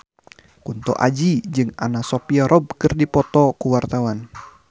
Kunto Aji jeung Anna Sophia Robb keur dipoto ku wartawan